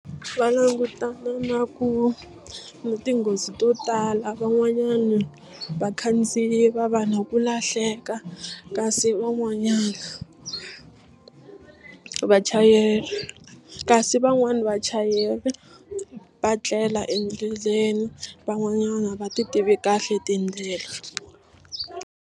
Va langutana na ku na tinghozi to tala van'wanyana vakhandziyi va va na ku lahleka kasi van'wanyana vachayeri kasi van'wani vachayeri va tlela endleleni van'wanyana a va ti tivi kahle tindlela.